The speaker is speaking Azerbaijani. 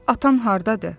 Bəs atan hardadır?